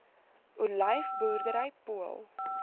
olyf boerdery pool